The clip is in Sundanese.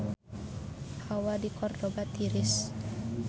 Hawa di Kordoba tiris